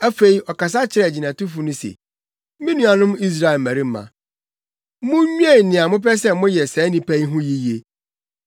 Afei, ɔkasa kyerɛɛ agyinatufo no se, “Me nuanom Israel mmarima, munnwen nea mopɛ sɛ moyɛ saa nnipa yi ho yiye.